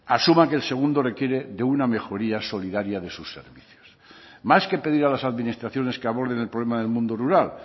asuma que el segundo requiere de una mejoría solidaria de sus servicios más que pedir a las administraciones que aborden el problema del mundo rural